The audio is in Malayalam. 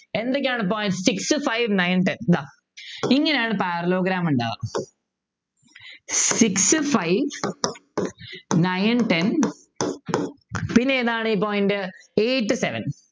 എന്തൊക്കെയാണ് point six five nine ten ഇതാ ഇങ്ങനെയാണ് Parallelogram ഇണ്ടാവ six five nine ten പിന്നെ ഏതാണ് ഈ point eight seven